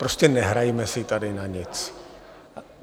Prostě nehrajme si tady na nic.